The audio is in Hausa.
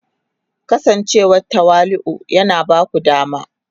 Kasancewa tawali'u yana ba ku dama